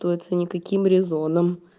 туация никаким резоном